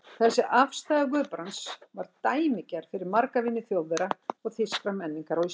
Þessi afstaða Guðbrands var dæmigerð fyrir marga vini Þjóðverja og þýskrar menningar á Íslandi.